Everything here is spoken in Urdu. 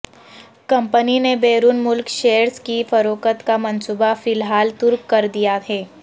کمپنی نے بیرون ملک شیئرز کی فروخت کا منصوبہ فی الحال ترک کر دیا ہے